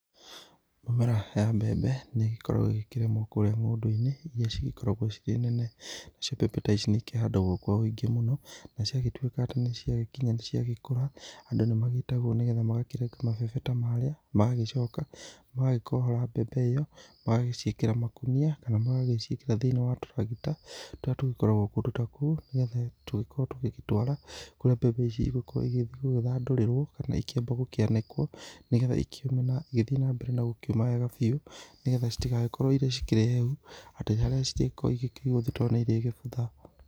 Mĩmera ya mbembe nĩ ĩgĩkoragwo ĩgĩkĩrĩmwo kũrĩa ng'ũndũ-inĩ iria cigĩkoragwo cirĩ nene, nacio mbembe ta ici nĩ ikĩhandagwo kwa ũingĩ mũno, na ciagĩtuĩka atĩ nĩ ciagĩkinya nĩ ciagĩkũra, andũ nĩ magĩtagwo nĩgetha magakĩrenga mabebe ta marĩa magagĩcoka magagĩkohora mbembe ĩyo magagĩciĩkĩra makũnia kana magagĩciĩkĩra thĩ-inĩ wa tũragita, tũrĩa tũgĩkoragwo kũndũ ta kũu nĩgetha tũgĩkorwo tũgĩtwara, kũrĩa mbembe ici igũgĩthiĩ gũgĩthandũrĩrwo kana ikĩambe ikĩanĩkwo nĩgetha ikĩũme na igĩthiĩ na mbere na gũkĩũma wega biũ, nĩgetha citigagĩkorwo irĩ cikĩrĩ hehu atĩ harĩa cirĩgĩkorwo cikĩigwo thitoo nĩ irĩgĩbutha.